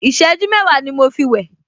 Ìṣẹ́jú mẹ́wàá ni mo fi wẹ̀